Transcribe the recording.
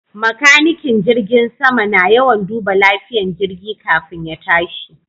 Makanikin jirgin sama na yawan duba lafiyan jirgi kafin ya tashi